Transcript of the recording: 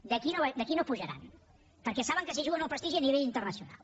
d’aquí no pujaran perquè saben que s’hi juguen el prestigi a nivell internacional